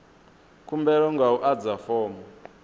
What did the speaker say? khumbelo nga u adza fomo